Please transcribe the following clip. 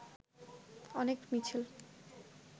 অনেক মিছিল